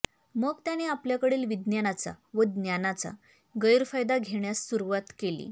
मग त्याने आपल्याकडील विज्ञानाचा व ज्ञानाचा गैरफायदा घेण्यास सुरुवात केली